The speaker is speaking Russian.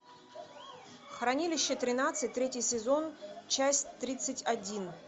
хранилище тринадцать третий сезон часть тридцать один